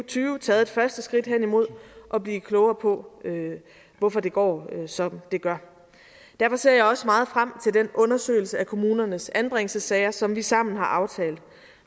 tyve taget et første skridt hen imod at blive klogere på hvorfor det går som det gør derfor ser jeg også meget frem til den undersøgelse af kommunernes anbringelsessager som vi sammen har aftalt